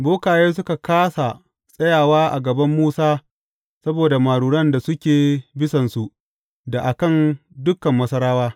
Bokaye suka kāsa tsayawa a gaban Musa saboda maruran da suke bisansu da a kan dukan Masarawa.